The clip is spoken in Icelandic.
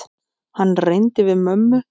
Hann reyndi við mömmu!